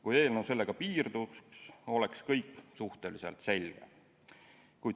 Kui eelnõu sellega piirduks, oleks kõik suhteliselt selge.